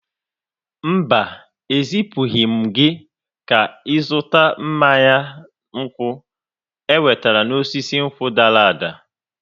Mba, ezipụghị m gị ka ị zụta mmanya nkwụ enwetara n'osisi nkwụ dara ada.